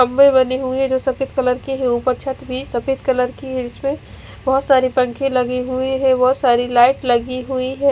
जो सफेद कलर की है उपर छत भी सफेद कलर की है जिसमे बहोत सारे पंखे लगे हुए है बहोत सारी लाइट लगी हुई है।